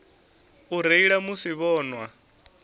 u reila musi vho nwa